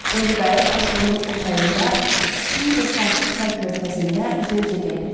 İndi qayıq aşırımın o tayında kiçik və sakit çay körfəzində üzə-üzə gəlirdi.